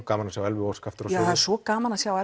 gaman að sjá Elvu Ósk aftur á sviði já það er svo gaman að sjá